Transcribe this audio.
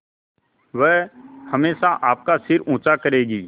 वह हमेशा आपका सिर ऊँचा करेगी